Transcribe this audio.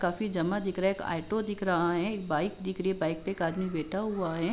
काफी जमा दिख रहा है। एक ऑटो दिख रहा है। एक बाइक दिख रही है। बाइक पे आदमी बैठा हुआ है।